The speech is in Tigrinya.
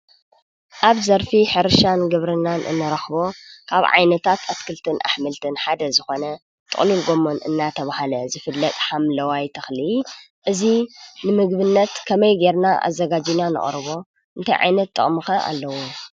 ኣብ ዘርፊ ሕርሻን ግብርናን እንረኽቦ ካብ ዓይነታት ኣትክልትን ኣሕምልትን ሓደ ዝኾነ ጥቅልል ጎመን እናተባህለ ዝፍለጥ ሓምለዋይ ተኽሊ እዚ ንምግብነት ከመይ ጌርና ኣዘጋጂና ነቕርቦ? እንታይ ዓይነት ጥቅሚ ከ አለዎ?